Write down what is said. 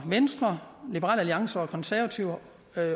venstre liberal alliance og de konservative